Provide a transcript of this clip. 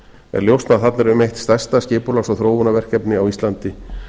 er ljóst að þarna er um eitt stærsta skipulags og þróunarverkefni á íslandi